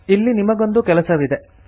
ಇಲ್ಲಿ ನಿಮಗೊಂದು ಕೆಲಸವಿದೆ